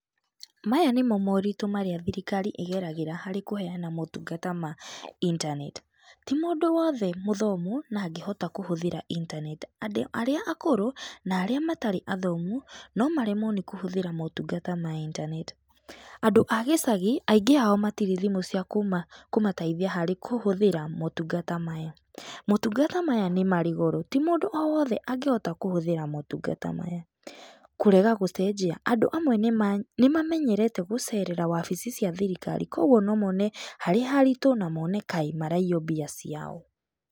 Maya nĩmo moritũ marĩa thirikari ĩgeragĩra harĩ kũheana motungata ma intaneti. Ti mũndũ wothe mũthomu na angĩhota kũhũthĩra intaneti. Andũ arĩa akũrũ na arĩa matarĩ athomu no maremwo nĩ kũhũthĩra motungata ma itaneti. Andũ a gĩcagi, aingĩ ao matirĩ thimũ ciakũmateithia harĩ kũhũthĩra motungata maya. Motungata maya nĩ marĩ goro, ti mũndũ o wothe angĩhota kũhũthĩra matungata maya. Kũrega gũcenjia, andũ amwe nĩ mamenyerete gũcerera wabici cia thirikari. Kwoguo no mone harĩ haritu na mone ta maraiywo mbia ciao.